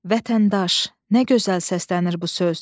Vətəndaş, nə gözəl səslənir bu söz.